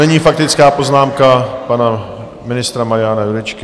Nyní faktická poznámka pana ministra Mariana Jurečky.